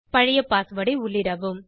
பழைய பாஸ்வேர்ட் ஐ உள்ளிடவும்